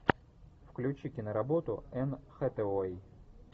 включи киноработу энн хэтэуэй